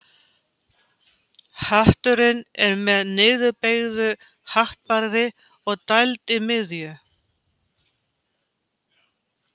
Hatturinn er með niðurbeygðu hattbarði og dæld í miðju.